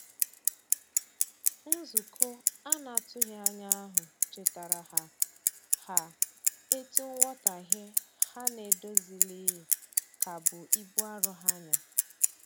Nzukọ anatughi anya ahu chetara ha ha etu nwotaghe ha n'edozilighi ka bụ ibụ arọ ha nya